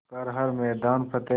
कर हर मैदान फ़तेह